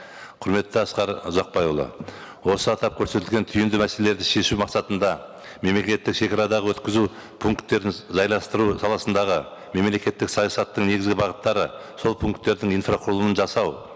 құрметті асқар ұзақбайұлы осы атап көрсетілген түйінді мәселелерді шешу мақсатында мемлекеттік шегарадағы өткізу пункттерін жайластыру саласындағы мемлекеттік саясаттың негізгі бағыттары сол пункттердің инфрақұрылымын жасау